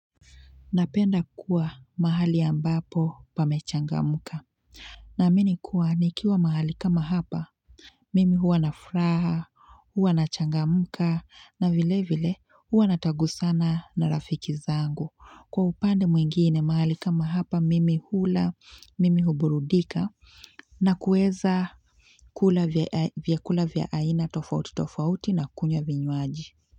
Napenda kuwa mahali ambapo pamechangamka. Naamini kuwa nikiwa mahali kama hapa, mimi huwa na furaha, huwa nachangamka, na vile vile huwa natagusana na rafiki zangu. Kwa upande mwingine mahali kama hapa, mimi hula, mimi huburudika, na kuweza kula vyakula vya aina tofauti tofauti na kunywa vinywaji.